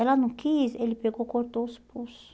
Ela não quis, ele pegou, cortou os pulsos.